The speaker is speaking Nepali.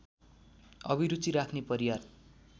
अभिरुचि राख्‍ने परियार